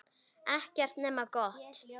Ekkert nema gott.